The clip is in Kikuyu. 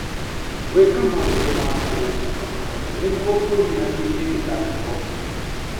Gwĩka maũndũ ma kũhũmũka kahora nĩguo ũnyihanyihie mĩtangĩko.